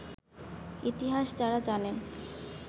ইতিহাস যাঁরা জানেন